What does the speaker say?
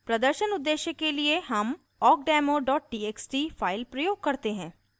प्रदर्शन उद्देश्य के लिए हम awkdemo txt file प्रयोग करते हैं